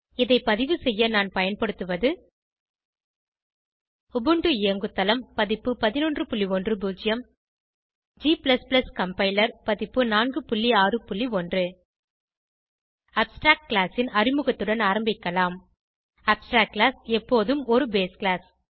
இதை பதிவுசெய்ய நான் பயன்படுத்துவது உபுண்டு இயங்குதளம் பதிப்பு 1110 g கம்பைலர் பதிப்பு 461 அப்ஸ்ட்ராக்ட் கிளாஸ் ன் அறிமுகத்துடன் ஆரம்பிக்கலாம் அப்ஸ்ட்ராக்ட் கிளாஸ் எப்போதும் ஒரு பேஸ் கிளாஸ்